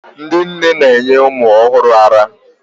ndị nne na-enye ụmụ ọhụrụ ara